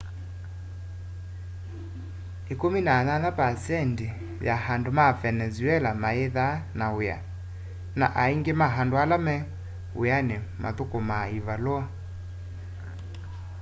18% ya andu ma venezuela mayithaa na wia na aingi ma andu ala me wiani muthukumaa ivalua